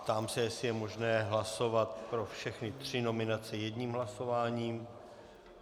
Ptám se, jestli je možné hlasovat pro všechny tři nominace jedním hlasováním?